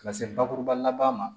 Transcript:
Ka se bakuruba laban ma